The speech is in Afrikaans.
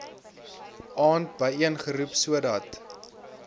aand byeengeroep sodat